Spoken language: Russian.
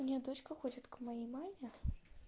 у неё дочка ходит к моей маме